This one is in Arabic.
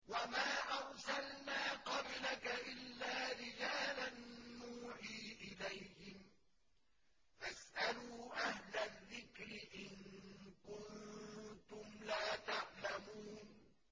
وَمَا أَرْسَلْنَا قَبْلَكَ إِلَّا رِجَالًا نُّوحِي إِلَيْهِمْ ۖ فَاسْأَلُوا أَهْلَ الذِّكْرِ إِن كُنتُمْ لَا تَعْلَمُونَ